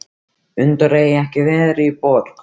Hundar eiga ekki að vera í borg.